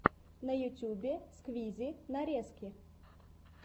на ютюбе сквизи нарезки